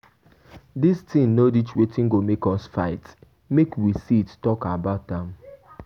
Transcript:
Dis thing no reach wetin go make us fight, make we sit talk about am.